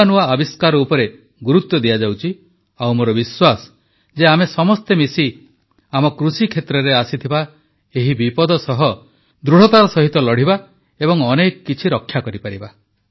ନୂଆ ନୂଆ ଆବିଷ୍କାର ଉପରେ ଗୁରୁତ୍ୱ ଦିଆଯାଉଛି ଆଉ ମୋର ବିଶ୍ୱାସ ଯେ ଆମେ ସମସ୍ତେ ମିଶି ଆମ କୃଷିକ୍ଷେତ୍ରରେ ଆସିଥିବା ଏହି ବିପଦ ସହ ଦୃଢ଼ତାର ସହିତ ଲଢ଼ିବା ଏବଂ ଅନେକ କିଛି ରକ୍ଷା କରିପାରିବା